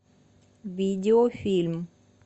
видеофильм